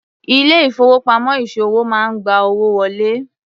Ilé ìfowópamọ́ ìṣòwò máa ń gba owó wọlé.